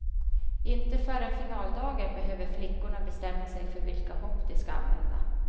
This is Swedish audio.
Inte förrän finaldagen behöver flickorna bestämma sig för vilka hopp de ska använda.